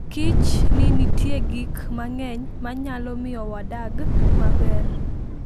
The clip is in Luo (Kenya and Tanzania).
Kich ni nitie gik mang'eny manyalo miyo wadag maber.